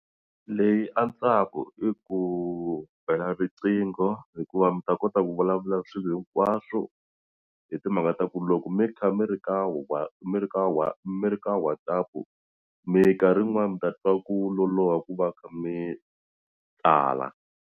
Leyi antswaku i ku bela riqingho hikuva mi ta kota ku vulavula swilo hinkwaswo hi timhaka ta ku loko mi kha mi ri ka mi ri ka mi ri ka WhatsApp mikarhi yin'wani mi ta twa ku loloha ku va mi kha mi tsala.